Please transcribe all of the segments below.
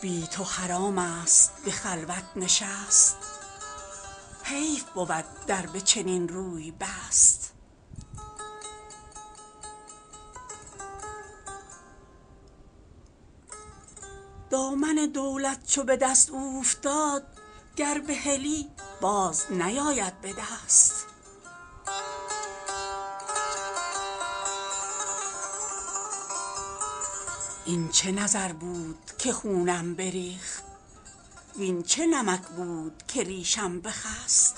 بی تو حرام است به خلوت نشست حیف بود در به چنین روی بست دامن دولت چو به دست اوفتاد گر بهلی باز نیاید به دست این چه نظر بود که خونم بریخت وین چه نمک بود که ریشم بخست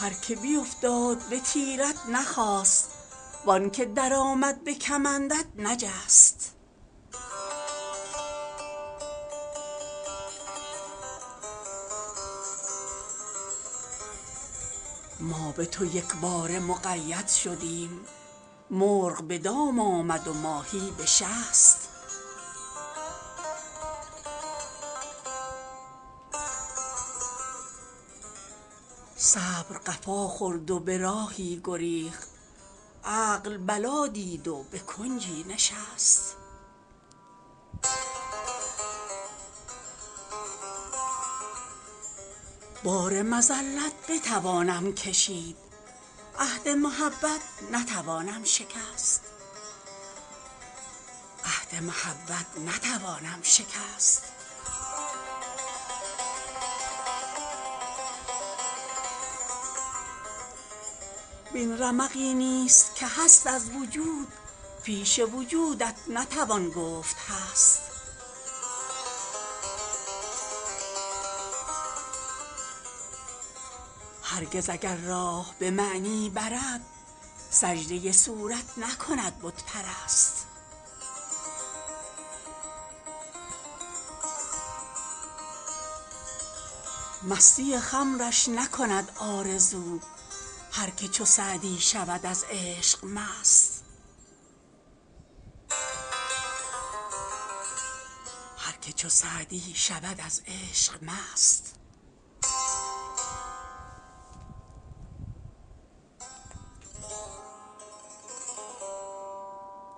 هر که بیفتاد به تیرت نخاست وان که درآمد به کمندت نجست ما به تو یکباره مقید شدیم مرغ به دام آمد و ماهی به شست صبر قفا خورد و به راهی گریخت عقل بلا دید و به کنجی نشست بار مذلت بتوانم کشید عهد محبت نتوانم شکست وین رمقی نیز که هست از وجود پیش وجودت نتوان گفت هست هرگز اگر راه به معنی برد سجده صورت نکند بت پرست مستی خمرش نکند آرزو هر که چو سعدی شود از عشق مست